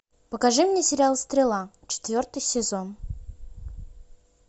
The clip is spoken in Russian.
покажи мне сериал стрела четвертый сезон